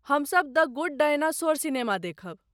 हम सब "the good dinosaur" सिनेमा देखब।